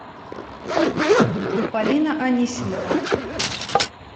полина анисимова